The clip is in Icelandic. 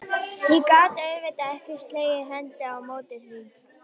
Ég gat auðvitað ekki slegið hendi á móti því.